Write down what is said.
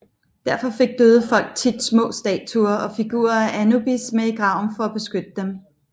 Derfor fik døde folk tit små statuer og figurer af Anubis med i graven for at beskytte dem